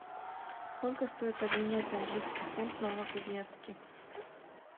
сколько стоит обменять английский фунт в новокузнецке